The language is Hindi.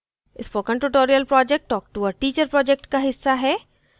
spoken tutorial project talktoa teacher project का हिस्सा है